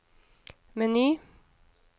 meny